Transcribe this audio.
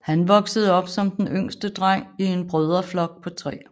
Han voksede op som den yngste dreng i en brødreflok på tre